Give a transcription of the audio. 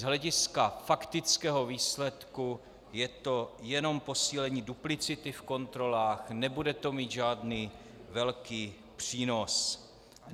Z hlediska faktického výsledku je to jenom posílení duplicity v kontrolách, nebude to mít žádný velký přínos.